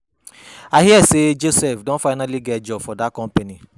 I hear say Joseph Don finally get job for dat company.